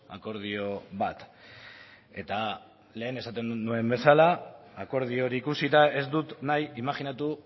akordio bat eta lehen esaten nuen bezala akordio hori ikusita ez dut nahi imajinatu